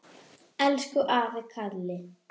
Elsku afi Kalli.